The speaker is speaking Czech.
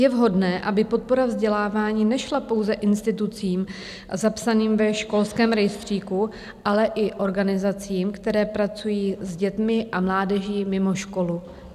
Je vhodné, aby podpora vzdělávání nešla pouze institucím zapsaným ve školském rejstříku, ale i organizacím, které pracují s dětmi a mládeží mimo školu.